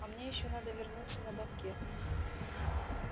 а мне ещё надо вернуться на банкет